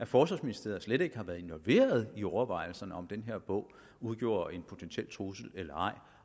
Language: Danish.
forsvarsministeriet slet ikke har været involveret i overvejelserne om om den her bog udgjorde en potentiel trussel eller ej